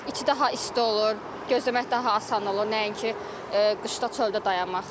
İçəridə daha isti olur, gözləmək daha asan olur, nəinki qışda çöldə dayanmaq.